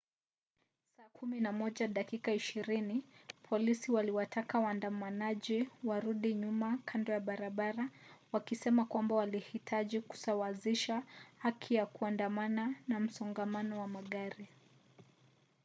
saa 11 dakika 20 polisi waliwataka waandamanaji warudi nyuma kando ya barabara wakisema kwamba walihitaji kusawazisha haki ya kuandamana na msongamano wa magari